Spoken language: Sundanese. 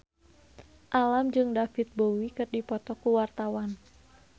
Alam jeung David Bowie keur dipoto ku wartawan